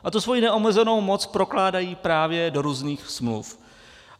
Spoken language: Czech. A tu svoji neomezenou moc prokládají právě do různých smluv.